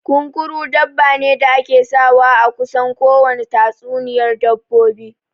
Kunkuru dabba ne da ake sawa a kusan kowane tatsuniyar dabbobi